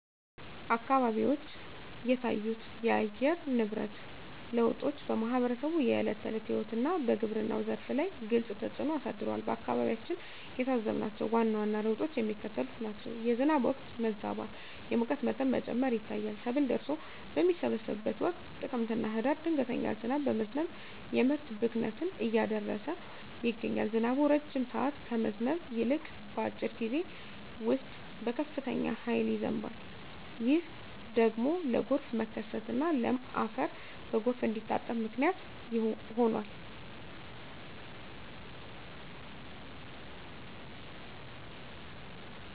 አካባቢዎች የታዩት የአየር ንብረት ለውጦች በማኅበረሰቡ የዕለት ተዕለት ሕይወትና በግብርናው ዘርፍ ላይ ግልጽ ተፅእኖ አሳድረዋል። በአካባቢያችን የታዘብናቸው ዋና ዋና ለውጦች የሚከተሉት ናቸው፦ የዝናብ ወቅት መዛባት፣ የሙቀት መጠን መጨመር ይታያል። ሰብል ደርሶ በሚሰበሰብበት ወቅት (ጥቅምትና ህዳር) ድንገተኛ ዝናብ በመዝነብ የምርት ብክነትን እያደረሰ ይገኛል። ዝናቡ ረጅም ሰዓት ከመዝነብ ይልቅ፣ በአጭር ጊዜ ውስጥ በከፍተኛ ኃይል ይዘንባል። ይህ ደግሞ ለጎርፍ መከሰትና ለም አፈር በጎርፍ እንዲታጠብ ምክንያት ሆኗል።